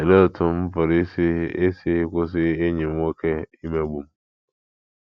Olee Otú M Pụrụ Isi Isi Kwụsị Enyi M Nwoke Imegbu M?